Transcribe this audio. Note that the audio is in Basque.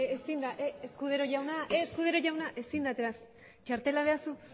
escudero jauna ezin da txartela behar duzu